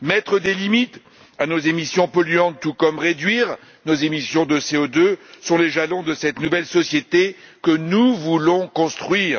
Mettre des limites à nos émissions polluantes, tout comme réduire nos émissions de CO2 sont les jalons de cette nouvelle société que nous voulons construire.